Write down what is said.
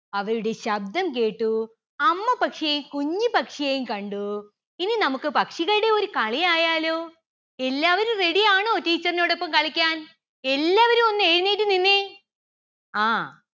അവരുടെ ശബ്ദം കേട്ടൂ അമ്മ പക്ഷിയെയും കുഞ്ഞി പക്ഷിയെയും കണ്ടു. ഇനി നമുക്ക് പക്ഷികളുടെ ഒരു കളി ആയാലോ എല്ലാവരും ready ആണോ teacher ന്റോടോപ്പം കളിക്കാൻ എല്ലാവരും ഒന്ന് എഴുന്നേറ്റു നിന്നെ ആ